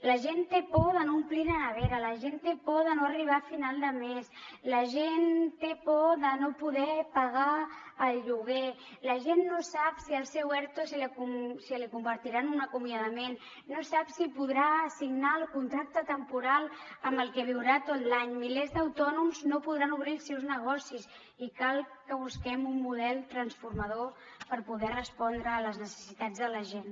la gent té por de no omplir la nevera la gent té por de no arribar a final de mes la gent té por de no poder pagar el lloguer la gent no sap si el seu erto se li convertirà en un acomiadament no sap si podrà signar el contracte temporal amb el que viurà tot l’any milers d’autònoms no podran obrir els seus negocis i cal que busquem un model transformador per poder respondre a les necessitats de la gent